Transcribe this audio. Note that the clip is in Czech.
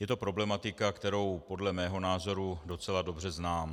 Je to problematika, kterou podle mého názoru docela dobře znám.